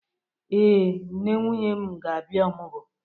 Ee, nne nwunye m ga-abịa ọmụgwọ.